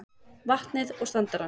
vatnið og standarann.